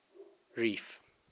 reef